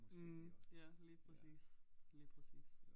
Mh ja lige præcis lige præcis